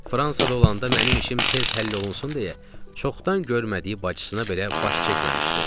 Fransada olanda mənim işim tez həll olunsun deyə çoxdan görmədiyi bacısına belə baş çəkməmişdi.